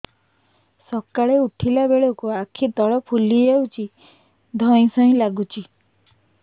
ସକାଳେ ଉଠିଲା ବେଳକୁ ଆଖି ତଳ ଫୁଲି ଯାଉଛି ଧଇଁ ସଇଁ ଲାଗୁଚି